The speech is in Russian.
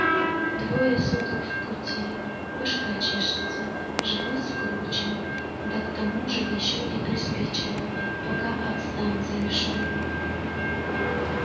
двое суток в пути башка чешется живот скручен да к тому же ещё и приспичило пока от станции шёл